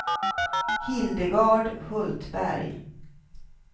Hildegard Hultberg